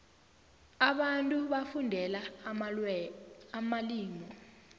abantu bafundela amalimu